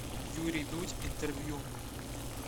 юрий дудь интервью